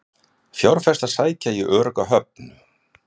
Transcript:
Fjárfestar sækja í örugga höfn